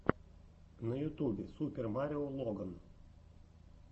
на ютубе супер марио логан